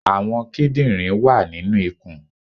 Àwọn kídìnrín wà nínu ikùn